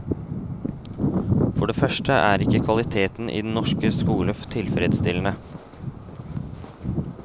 For det første er ikke kvaliteten i den norske skole tilfredsstillende.